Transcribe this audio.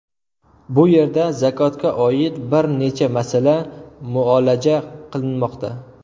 Bu yerda zakotga oid bir necha masala muolaja qilinmoqda.